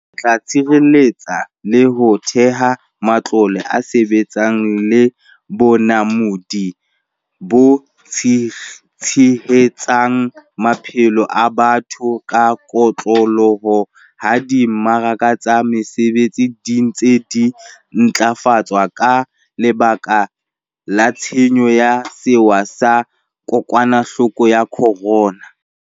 Re tla tshireletsa le ho theha matlole a mesebetsi le bonamodi bo tshehetsang maphelo a batho ka kotloloho ha di mmaraka tsa mesebetsi di ntse di ntlafatswa ka lebaka la tshenyo ya sewa sa ko kwanahloko ya corona.